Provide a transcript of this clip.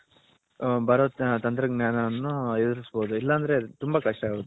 ಬರೋ ತಂತ್ರ ಜ್ಞಾನವನ್ನು ಎದುರಿಸ ಬೌದು ಇಲ್ಲ ಅಂದ್ರೆ ತುಂಬಾ ಕಷ್ಟ ಆಗುತ್ತೆ